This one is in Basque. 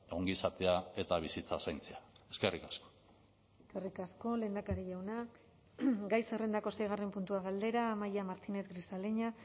ongizatea eta bizitza zaintzea eskerrik asko eskerrik asko lehendakari jauna gai zerrendako seigarren puntua galdera amaia martínez grisaleña